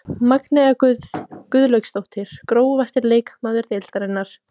Magnea Guðlaugsdóttir Grófasti leikmaður deildarinnar?